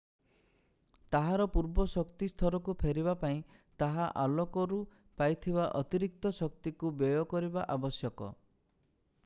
ତାହାର ପୂର୍ବ ଶକ୍ତି ସ୍ତରକୁ ଫେରିବା ପାଇଁ ତାହା ଆଲୋକରୁ ପାଇଥିବା ଅତିରିକ୍ତ ଶକ୍ତିକୁ ବ୍ୟୟ କରିବା ଆବଶ୍ୟକ